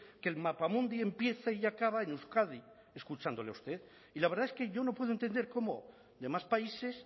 que el mapamundi empieza y acaba en euskadi escuchándole a usted y la verdad es que yo no puedo entender cómo de más países